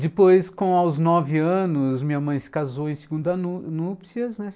Depois, com aos nove anos, minha mãe se casou em segunda núpcias, né?